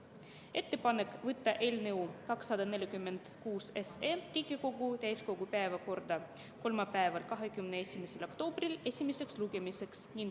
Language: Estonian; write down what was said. Ettepanek on võtta eelnõu 246 Riigikogu täiskogu päevakorda esimeseks lugemiseks kolmapäeval, 21. oktoobril.